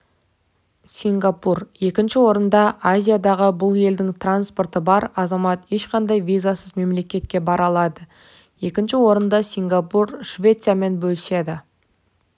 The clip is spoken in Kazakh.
сингапур екінші орында азиядағы бұл елдің паспорты бар азамат ешқандай визасыз мемлекетке бара алады екінші орынды сингапур швециямен бөліседі